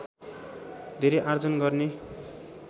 धेरै आर्जन गर्ने